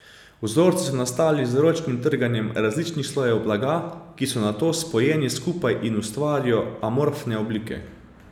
Vzorci so nastali z ročnim trganjem različnih slojev blaga, ki so nato spojeni skupaj in ustvarijo amorfne oblike.